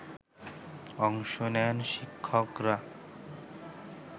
অংশ নেন শিক্ষকরা